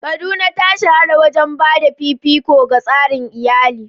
Kaduna ta shahara wajen ba da fifiko ga tsarin iyali.